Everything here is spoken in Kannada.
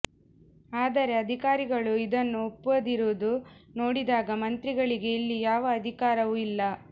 ಆದರೆ ಅಧಿಕಾರಿಗಳು ಇದನ್ನು ಒಪ್ಪದಿರುವುದು ನೋಡಿದಾಗ ಮಂತ್ರಿಗಳಿಗೆ ಇಲ್ಲಿ ಯಾವ ಅಧಿಕಾರವೂ ಇಲ್ಲ